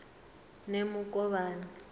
nemukovhani